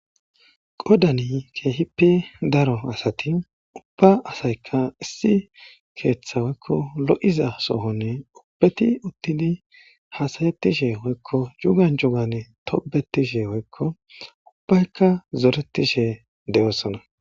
Qodani keehippi daro asati ubba asayka issi keeththa hoykko lo'iza sohonne ubbeti uttidi haasayettishe hoykko jugan jugane tobetishe hoykko ubbaykka zoretishe de'oosona